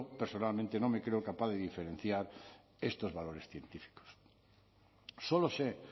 personalmente no me creo capaz de diferenciar estos valores científicos solo sé